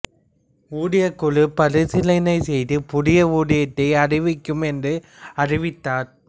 ஊதியக்குழு பரிசிலனை செய்து புதிய ஊதியத்தை அறிவிக்கும் என்று அறிவித்தார்